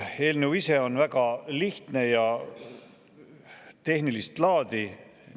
Eelnõu ise on väga lihtne ja tehnilist laadi.